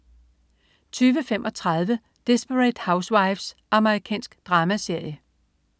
20.35 Desperate Housewives. Amerikansk dramaserie